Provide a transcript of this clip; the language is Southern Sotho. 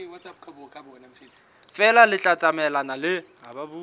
feela le tla tsamaelana le